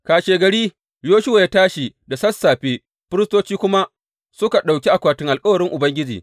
Kashegari, Yoshuwa ya tashi da sassafe, firistoci kuma suka ɗauki akwatin alkawarin Ubangiji.